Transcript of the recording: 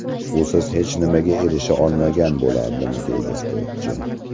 Usiz hech nimaga erisha olmagan bo‘lardim”, deydi sportchi.